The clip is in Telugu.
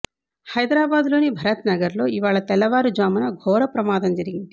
హైదరాబాద్ లోని భరత్ నగర్లో ఇవాళ తెల్లవారు జామున ఘోర ప్రమాదం జరిగింది